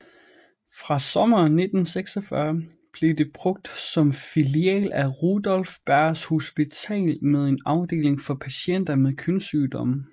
Fra sommeren 1946 blev det brugt som filial af Rudolph Berghs Hospital med en afdeling for patienter med kønssygdomme